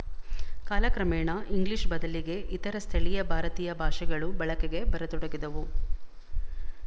ಕಾಲಕ್ರಮೇಣ ಇಂಗ್ಲಿಶ ಬದಲಿಗೆ ಇತರ ಸ್ಥಳೀಯ ಭಾರತೀಯ ಭಾಷೆಗಳು ಬಳಕೆಗೆ ಬರತೊಡಗಿದವು